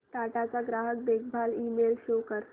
टाटा चा ग्राहक देखभाल ईमेल शो कर